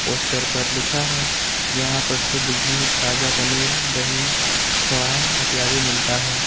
Poster पर लिखा है यहां पर शुद्ध घी ताजा पनीर दही खोवा इत्यादि मिलता है।